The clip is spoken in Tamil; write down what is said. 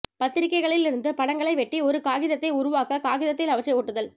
பத்திரிகைகளில் இருந்து படங்களை வெட்டி ஒரு காகிதத்தை உருவாக்க காகிதத்தில் அவற்றை ஒட்டுதல்